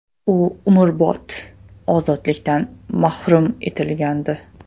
U umrbod ozodlikdan mahrum etilgandi.